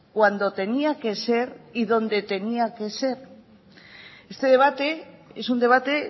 cuando tenía que ser y donde tenía que ser este debate es un debate